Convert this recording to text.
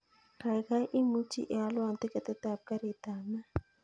Kaigaigai imuchi ialwon tiketit ap karit ap maat